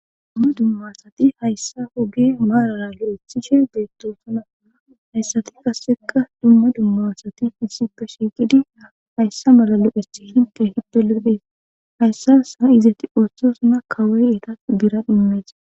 dumma dummasati hayssa hoge maarara lo7ethishe beettoosuna hayssati qasseka dumma dummasati isipe shiiqidia hayssa malalo7ethi hinte hibde ledhees hayssa saa izati oosthosana kawoy eeta biran immees